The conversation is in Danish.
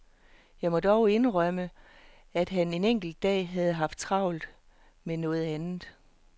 Jeg må dog indrømme, at han en enkelt dag havde haft travlt med noget andet.